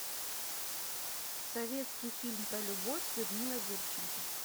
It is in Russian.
советский фильм про любовь с людмилой гурченко